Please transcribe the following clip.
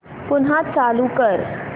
पुन्हा चालू कर